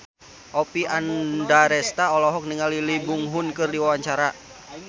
Oppie Andaresta olohok ningali Lee Byung Hun keur diwawancara